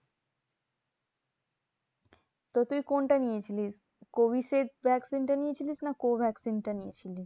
তো তুই কোনটা নিয়েছিলিস? Covishield vaccine টা নিয়েছিলিস? না co vaccine টা নিয়েছিলিস?